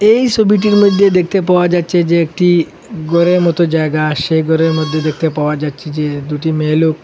এই ছবিটির মইধ্যে দেখতে পাওয়া যাচ্ছে যে একটি ঘরের মতো জায়গা সেই ঘরের মধ্যে দেখতে পাওয়া যাচ্ছে যে দুটি মেয়ে লোক --